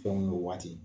Fɛnw n'u waati